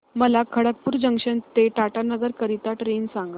मला खडगपुर जंक्शन ते टाटानगर करीता ट्रेन सांगा